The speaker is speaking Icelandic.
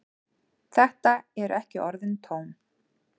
Þetta eru ekki orðin tóm.